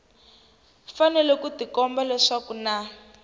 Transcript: fanele swi tikomba leswaku na